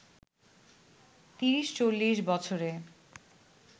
৩০-৪০ বছরে